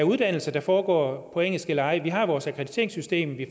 uddannelser der foregår på engelsk eller ej vi har vores akkrediteringssystem vi